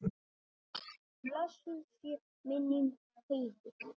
Blessuð sé minning Heiðu.